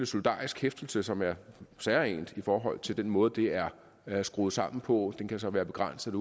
solidarisk hæftelse som er særegent i forhold til den måde det er er skruet sammen på den kan så være begrænset